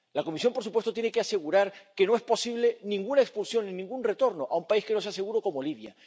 La Comisión, por supuesto, tiene que asegurar que no es posible ninguna expulsión ni ningún retorno a un país que no sea seguro, como Libia.